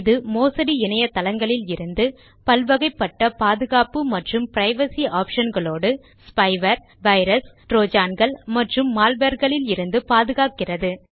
இது மோசடி இணைய தளங்களில் இருந்து பல்வகைப்பட்ட பாதுகாப்பு மற்றும் பிரைவசி ஆப்ஷன் களோடு ஸ்பைவேர் வைரஸ் டிரோஜான்கள் மற்றும் மால்வேர்களிலிருந்து பாதுகாக்கிறது